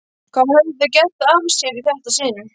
Hvað höfðu þau gert af sér í þetta sinn?